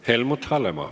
Helmut Hallemaa.